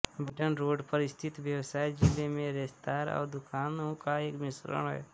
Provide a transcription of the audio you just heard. Vinton road पर स्थित व्यवसाय जिले में रेस्तरां और दुकानों का एक मिश्रण है